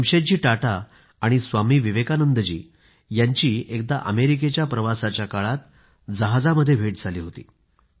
जमशेदजी टाटा आणि स्वामी विवेकानंद जी यांची एकदा अमेरिकेच्या प्रवासाच्या काळात जहाजामध्ये भेट झाली होती